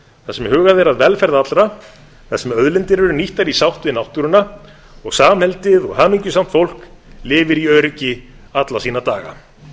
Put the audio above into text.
þar sem hugað er að velferð allra þar sem auðlindir eru nýttar í sátt við náttúruna og samheldið og hamingjusamt fólk lifir í öryggi alla sína daga